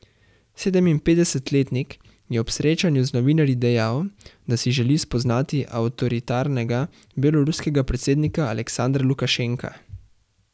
Sedeminpetdesetletnik je ob srečanju z novinarji dejal, da si želi spoznati avtoritarnega beloruskega predsednika Aleksandra Lukašenka.